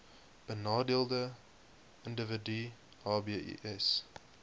benadeelde individue hbis